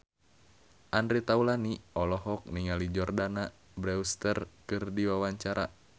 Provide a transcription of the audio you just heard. Andre Taulany olohok ningali Jordana Brewster keur diwawancara